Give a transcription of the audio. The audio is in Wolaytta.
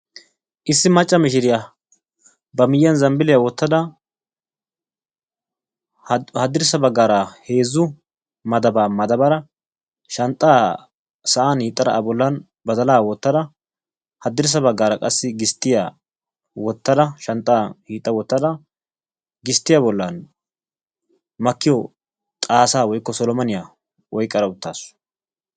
Issi macca mishiriya ba miyyiyan zambbiliya wottada haddirssa baggaara heezzu madaaba madabbada shanxxaa sa'an hiixxada a bollan badala wottada haddirssa baggaara qassi gisttiya wottada shanxxa hiixxa wottada, gisttiya bollan makkiyo xaassa woykko solomaniya oyqqada uttaasu.